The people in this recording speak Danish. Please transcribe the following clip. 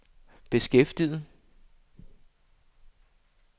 beskæftiget